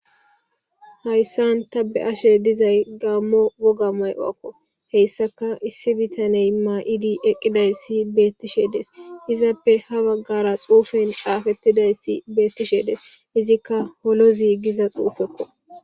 hayssan ta be ashe dizay gammo woga may7oakko heyssaka issi bitaney maa7idi eqqiday si beettishe des izappe ha baggara xuufen xaafettidays si beettishe dees izikka holozi giza xuufekko